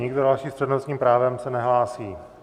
Nikdo další s přednostním právem se nehlásí.